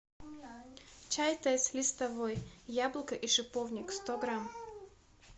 чай тесс листовой яблоко и шиповник сто грамм